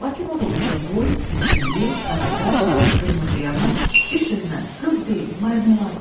Lakin o da ucaboy, biçimli, qaraqaş, qırmızıyanaq, bir sözlə qız deyil, marmeladdır.